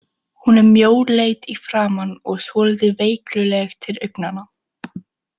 Hún er mjóleit í framan og svolítið veikluleg til augnanna.